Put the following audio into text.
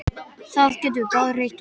Það getum við báðir reitt okkur á.